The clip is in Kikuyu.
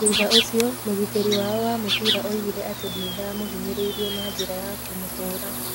Thutha ũcio, mũgitĩri wao wa mũbira oigire atĩ nĩ ndamũhinyĩrĩirie na njĩra ya kũmũhũũra.